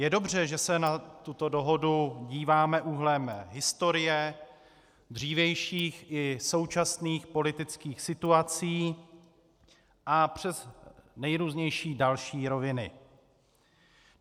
Je dobře, že se na tuto dohodu díváme úhlem historie, dřívějších i současných politických situací a přes nejrůznější další roviny.